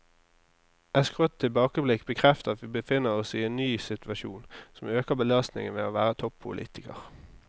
Et skrått tilbakeblikk bekrefter at vi befinner oss i en ny situasjon, som øker belastningen ved å være toppolitiker.